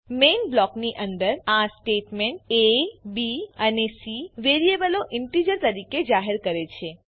main બ્લોકની અંદર આ સ્ટેટમેંટ aબી અને સી વેરીએબલોને ઇન્ટીજર તરીકે જાહેર કરે છે